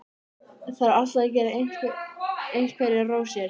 Þarf alltaf að gera einhverjar rósir.